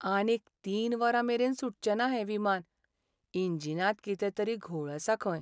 आनीक तीन वरां मेरेन सुटचेंना हें विमान. इंजिनांत कितें तरी घोळ आसा खंय.